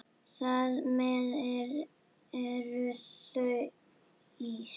Þar með eru þau ís